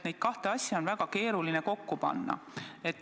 Neid kahte asja on väga keeruline kokku panna.